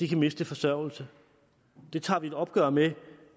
kan miste forsørgelse det tager vi et opgør med